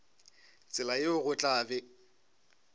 tsela yeo go tla be